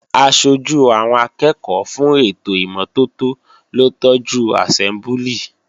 Aṣojú àwọn akẹ́ẹ̀kọ́ fún ètò ìmọ́tótó ló tọ́jú àsẹ́mbúlì